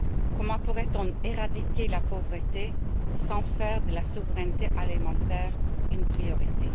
Comment pourrait on éradiquer la pauvreté sans faire de la souveraineté alimentaire une priorité?